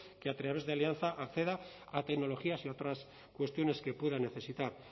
que a través de alianza acceda a tecnologías y a otras cuestiones que pueda necesitar